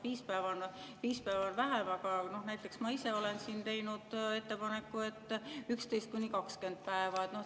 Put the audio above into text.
Viis päeva on vähe, aga näiteks ma ise olen siin teinud ettepaneku, et 11–20 päeva.